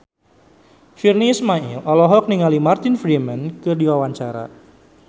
Virnie Ismail olohok ningali Martin Freeman keur diwawancara